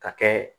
Ka kɛ